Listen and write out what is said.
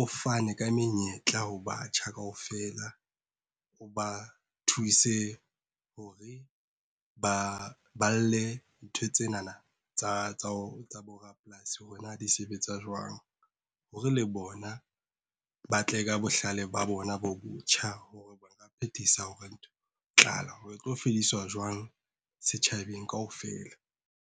o fane ka menyetla ho batjha kaofela o ba thuse, hore ba balle ntho tsena tsa bo rapolasi, hore na di sebetsa jwang. Hore le bona ba tle ka bohlale ba bona bo botjha hore ba ka phethisa hore tlala e tlo fediswa jwang setjhabeng kaofela.